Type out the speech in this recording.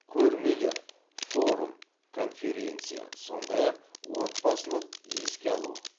көрмелер форум конференция сондай ақ отбасылық еске алу